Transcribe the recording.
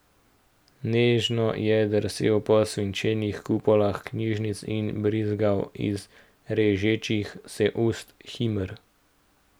Nežno je drsel po svinčenih kupolah knjižnic in brizgal iz režečih se ust himer.